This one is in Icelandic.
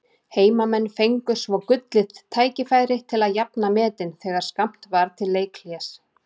Heimamenn fengu svo gullið tækifæri til að jafna metin þegar skammt var til leikhlés.